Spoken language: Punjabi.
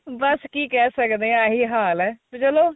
ਬੱਸ ਕੀ ਕਹਿ ਸਕਦੇ ਆਹੀ ਹਾਲ ਏ ਤੇ ਚਲੋ